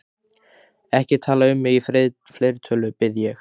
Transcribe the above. Ekki tala um mig í fleirtölu, bið ég.